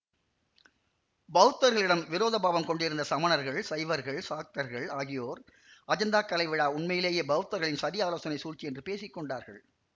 பௌத்தர்களிடம் விரோத பாவம் கொண்டிருந்த சமணர்கள் சைவர்கள் சாக்தர்கள் ஆகியோர் அஜந்தாக் கலை விழா உண்மையிலேயே பௌத்தர்களின் சதியாலோசனைச் சூழ்ச்சி என்று பேசி கொண்டார்கள்